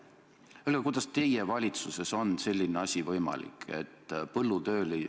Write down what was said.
Öelge, kuidas teie valitsuses on selline asi võimalik?